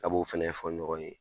Ka b'o fɛnɛ fɔ ɲɔgɔn ye.